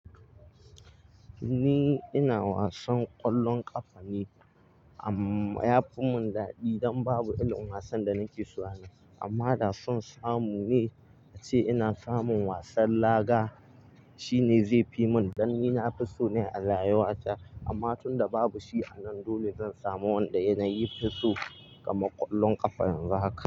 Ni ina wasan ƙwallon ƙafa ne amma ya fi mun dadi idan babu irin wasan da nake so ana. Amma da san samu ne ace ina samun wasan laga, shine zai fi mun dan ni na fi so ne a layuwata amma tunda babu shi anan, dole zan samu wanda yanayi fi so kamar ƙwallon ƙafa yanzu haka.